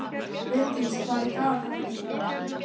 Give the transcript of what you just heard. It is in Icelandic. Hreindís, hvað er í dagatalinu í dag?